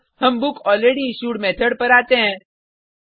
अब हम book already issued method पर आते हैं